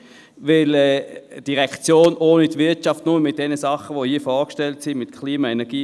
Eine Direktion ohne die Wirtschaft, nur mit Klima, Energie und Umwelt, wäre viel zu klein.